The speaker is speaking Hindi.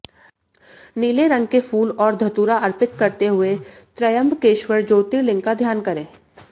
नीले रंग के फूल और धतूरा अर्पित करते हुए त्रयंबकेश्वर ज्योतिर्लिंग का ध्यान करें